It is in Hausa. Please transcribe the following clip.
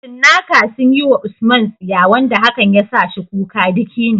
Cinnaka sun yi wa USMAN tsiya wanda hakan ya sa shi kuka duk yini.